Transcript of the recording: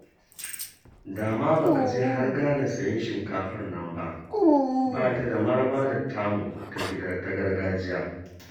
Da ma ba ka je har Ghana sayen shinkafar nan ba, ba ta da maraba da tamu ta gargajiya